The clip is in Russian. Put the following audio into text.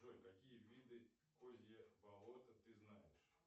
джой какие виды козье болото ты знаешь